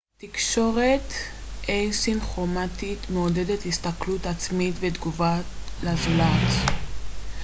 תקשורת א-סינכרומטית מעודדת הסתכלות עצמית ותגובה לזולת